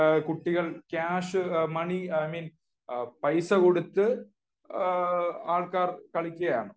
കുട്ടികൾ ആൾക്കാർ കളിക്കുകയാണ്